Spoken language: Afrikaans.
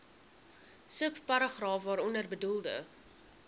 subparagraaf waaronder bedoelde